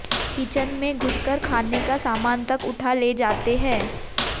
kitchen में घुसकर खाने का सामान तक उठा ले जाते हैं